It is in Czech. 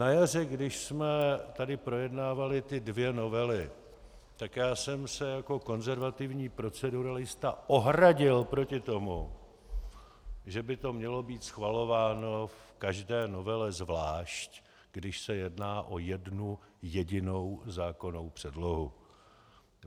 Na jaře, když jsme tady projednávali ty dvě novely, tak já jsem se jako konzervativní proceduralista ohradil proti tomu, že by to mělo být schvalováno v každé novele zvlášť, když se jedná o jednu jedinou zákonnou předlohu.